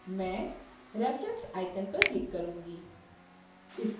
मैं reference icon पर click करुँगी